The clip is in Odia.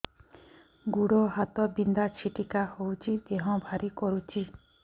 ଗୁଡ଼ ହାତ ବିନ୍ଧା ଛିଟିକା ହଉଚି ଦେହ ଭାରି କରୁଚି